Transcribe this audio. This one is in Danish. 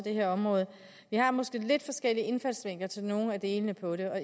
her område vi har måske en lidt forskellig indfaldsvinkel til nogle af delene på det